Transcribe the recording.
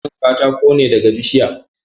Ana samun katako ne daga bishiya.